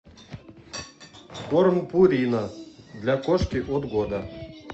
корм пурина для кошки от года